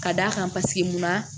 Ka d'a kan paseke munna